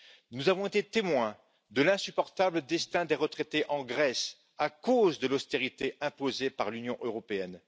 Nous avons été témoins de l'insupportable destin des retraités en Grèce, à cause de l'austérité imposée par l'Union européenne.